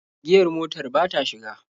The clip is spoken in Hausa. Giyar motar ba ta shiga.